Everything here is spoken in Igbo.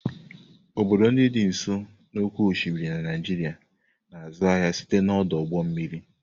Obodo ndị dị n'ụsọ oké osimiri na Naijiria na-azụ ahịa site n'ọdụ ụgbọ mmiri.